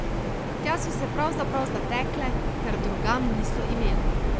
Tja so se pravzaprav zatekle, ker drugam niso imele.